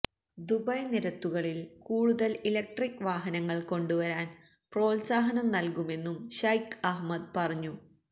Dubai നിരത്തുകളില് കൂടുതല് electric വാഹനങ്ങള് കൊണ്ടുവരാന് പ്രോത്സാഹനം നല്കുമെന്നും ശൈഖ് അഹ്മദ് പറഞ്ഞു